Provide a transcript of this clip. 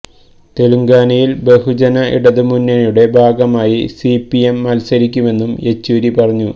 തെലങ്കാനയില് ബഹുജന ഇടതു മുന്നണിയുടെ ഭാഗമായി സിപിഎം മത്സരിക്കുമെന്നും യെച്ചൂരി പറഞ്ഞു